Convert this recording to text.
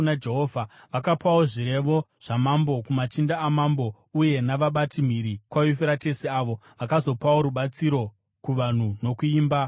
Vakapawo zvirevo zvamambo kumachinda amambo uye navabati mhiri kwaYufuratesi, avo vakazopawo rubatsiro kuvanhu nokuimba yaMwari.